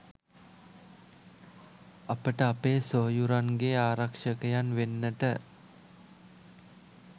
අපට අපේ සොයුරන්ගේ ආරක්ෂකයන් වෙන්නට